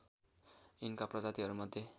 यिनका प्रजातिहरू मध्ये